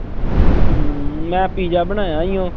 ਹਮ ਮੈਂ ਪੀਜਾ ਬਣਾਇਆ ਸੀ।